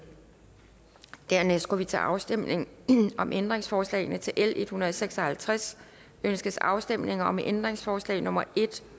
dernæst går vi til afstemning om ændringsforslagene til l en hundrede og seks og halvtreds ønskes afstemning om ændringsforslag nummer en